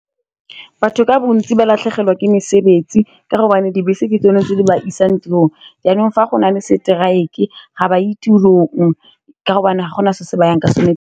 Batho ka bontsi ba latlhegelwa ke mesebetsi ka gobane dibese ke tsone tse di ba isang tirong, jaanong fa go nale strike-e ga ba ye tirong ka gobane ga gona se se bayang ka sone.